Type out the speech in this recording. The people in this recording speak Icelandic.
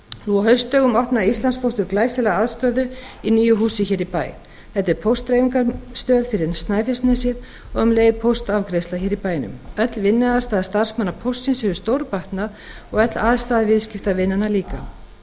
nú á haustdögum opnaði íslandspóstur glæsilega aðstöðu í nýju húsi hér í bæ þetta er póstdreifingarstöð fyrir snæfellsnesið og um leið póstafgreiðsla hér í bænum öll vinnuaðstaða starfsmanna póstsins hefur stórbatnað og öll aðstaða viðskiptavinanna líka